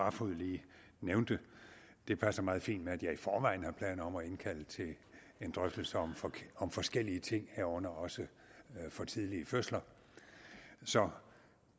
barfod lige nævnte det passer meget fint med at jeg i forvejen har planer om at indkalde til en drøftelse om om forskellige ting herunder også for tidlige fødsler så